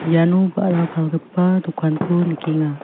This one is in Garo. iano ba·ra palgipa dokanko nikenga.